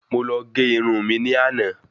Mo lọ gé irun mi ní àná